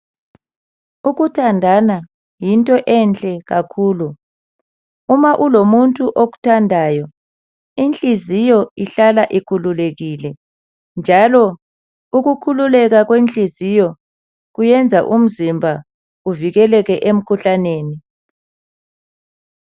Ukuthandana yinto enhle kakhulu. Uma kulomuntu okuthandayo inhliziyo ihlala ikhululekile njalo ukukhululeka kwenhliziyo kwenza umzimba uzikeleke emkhuhlaneni.